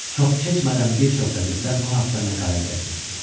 Çox keçmədən bir çox qəzetlər bu haqda məqalə dərc etdi.